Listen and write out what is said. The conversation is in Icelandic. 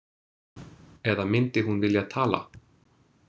Eða myndi hún vilja tala?